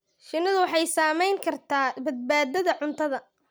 Shinnidu waxay saamayn kartaa badbaadada cuntada.